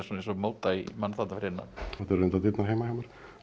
móta í mann fyrir innan þetta eru reyndar dyrnar heima hjá mér